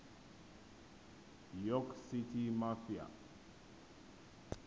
york city mafia